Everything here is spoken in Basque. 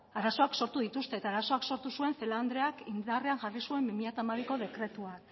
arazoak sortu dituzte eta arazoak sortu zuen celaá andreak indarrean jarri zuen bi mila hamabiko dekretuak